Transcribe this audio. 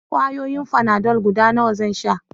Ƙwayoyin fanadol guda nawa zan sha?